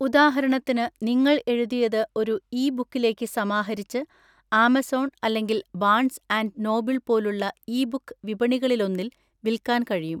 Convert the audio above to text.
ഉദാഹരണത്തിന്, നിങ്ങൾ എഴുതിയത് ഒരു ഇ ബുക്കിലേക്ക് സമാഹരിച്ച് ആമസോണ്‍, അല്ലെങ്കിൽ ബാൺസ് ആന്‍റ് നോബിള്‍ പോലുള്ള ഇ ബുക്ക് വിപണികാളിലൊന്നിൽ വിൽക്കാൻ കഴിയും.